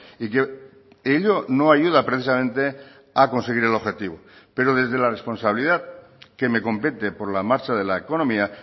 y que ello no ayuda precisamente a conseguir el objetivo pero desde la responsabilidad que me compete por la marcha de la economía